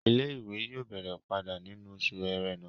Ilé-ìwé yóò bẹ̀rẹ̀ padà nínú oṣù ẹrẹ́nà